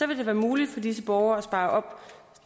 vil det være muligt for disse borgere at spare op